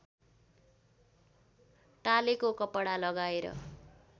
टालेको कपडा लगाएर